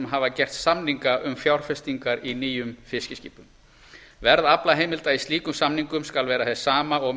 hafa gert samninga um fjárfestingar í nýjum fiskiskipum verð aflaheimilda í slíkum samningum skal vera hið sama og